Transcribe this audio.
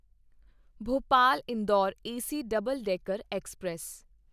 Bhopal Indore AC double decker express